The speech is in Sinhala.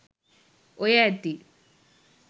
ඔය ඇති